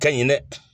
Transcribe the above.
Ka ɲi dɛ